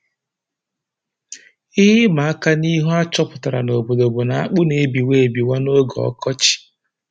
Ihe ịmaka n'ihu a chọpụtara n'obodo bụ na akpụ na-ebiwa ebiwa n'oge ọkọchị